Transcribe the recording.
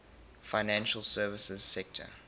financial services sector